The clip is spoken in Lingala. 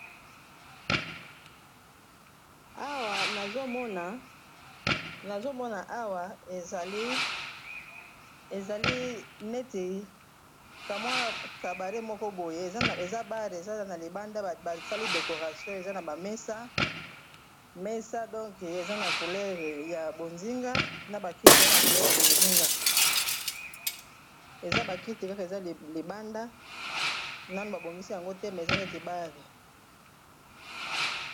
nazomona awa ezali neti kamwa kabare moko boye eza bare eza na libanda basali decoration eza na bamesa mesa donke eza na coulere ya bozinga na bakiti za na coulere ya bozinga eza bakiti kaka eza libanda nano babongisi yango te me eza neti bare